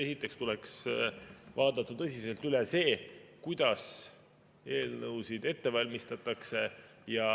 Esiteks tuleks vaadata tõsiselt üle see, kuidas eelnõusid ette valmistatakse.